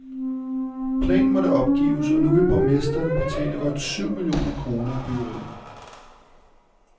Planen måtte opgives, og nu vil borgmesteren betale godt syv millioner kroner af byggeriet.